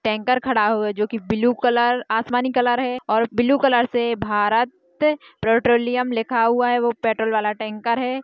Tanker खड़ा है जो के ब्लू कलर आसमानी कलर है और ब्लू कलर से भारत पेट्रोलियम लिखा हुआ है वो पेट्रोल वाला टैंकर है।